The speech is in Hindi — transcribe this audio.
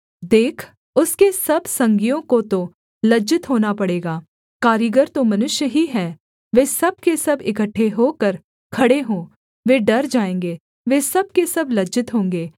देख उसके सब संगियों को तो लज्जित होना पड़ेगा कारीगर तो मनुष्य ही है वे सब के सब इकट्ठे होकर खड़े हों वे डर जाएँगे वे सब के सब लज्जित होंगे